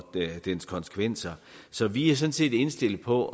dens konsekvenser så vi er sådan set indstillet på